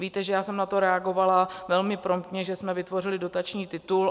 Víte, že já jsem na to reagovala velmi promptně, že jsme vytvořili dotační titul.